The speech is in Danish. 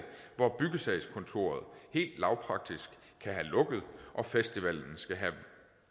hvor byggesagskontoret helt lavpraktisk kan have lukket og festivalen